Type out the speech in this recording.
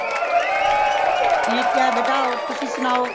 ਠੀਕ ਹੈ ਬੇਟਾ ਹੋਰ ਤੁਸੀਂ ਸਨਾਓ